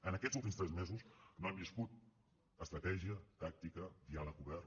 en aquests últims tres mesos no hem viscut estratègia tàctica diàleg obert